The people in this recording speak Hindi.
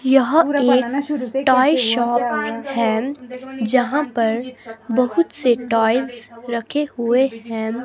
यह एक टॉय शॉप है जहां पर बहुत से टॉयज रखे हुए हैं.